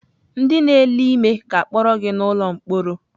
Ndị na-ele ime ga-akpọrọ gị n'ụlọ mkpọrọ.